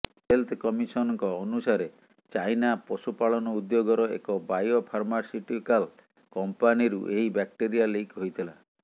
health କମିସନଙ୍କ ଅନୁସାରେ China ପଶୁପାଳନ ଉଦ୍ୟୋଗର ଏକ ବାୟୋଫାର୍ମାସୁଟିକଲ କମ୍ପାନୀରୁ ଏହି ବ୍ୟାକ୍ଟେରିଆ ଲିକ୍ ହୋଇଥିଲା